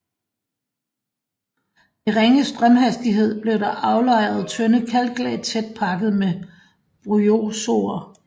Ved ringe strømhastighed blev der aflejret tynde kalklag tæt pakket med bryozoer